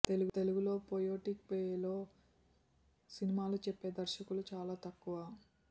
తెలుగులో పొయెటిక్ వేలో సినిమాలు చెప్పే దర్శకులు చాలా తక్కువ